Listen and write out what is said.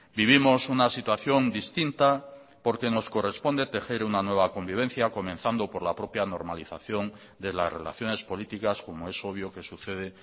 vivimos una situación distinta porque nos corresponde tejer una nueva convivencia comenzando por la propia normalización de las relaciones políticas como es obvio que sucede